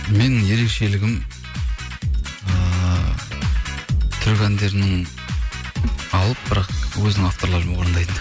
менің ерекшелігім ыыы түрік әндерінің алып бірақ өзінің авторларымен